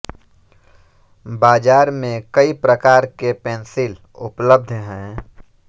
बाज़ार में कई प्रकार के पेंसिल उप्लब्ध हैं